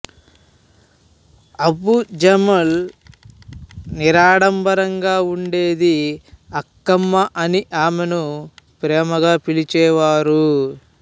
అంబుజమ్మాళ్ నిరాడంబరంగా ఉండేది అక్కమ్మ అని ఆమెని ప్రేమగా పిలిచేవారు